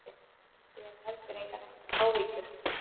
Ég hef heldur engar áhyggjur.